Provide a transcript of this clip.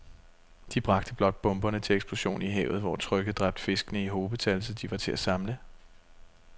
De bragte blot bomberne til eksplosion i havet, hvor trykket dræbte fiskene i hobetal, så de var til at samle